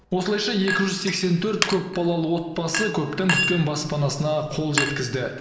осылайша екі жүз сексен төрт көпбалалы отбасы көптен күткен баспанасына қол жеткізді